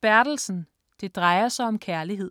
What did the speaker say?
Bertelsen, Jes: Det drejer sig om kærlighed